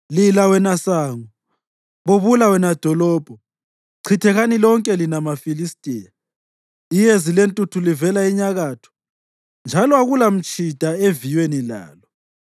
Lila wena sango! Bubula wena dolobho! Chithekani lonke lina maFilistiya! Iyezi lentuthu livela enyakatho; njalo akulamatshida eviyweni lalo.